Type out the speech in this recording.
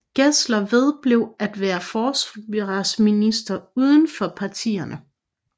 Gessler vedblev at være forsvarsminister uden for partierne